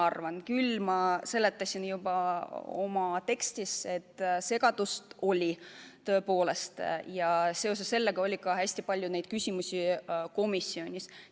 Aga ma seletasin juba oma kõnes, et segadust oli tõepoolest ja seoses sellega oli ka hästi palju küsimusi komisjonis.